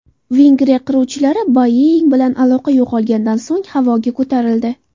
Vengriya qiruvchilari Boeing bilan aloqa yo‘qolganidan so‘ng havoga ko‘tarildi.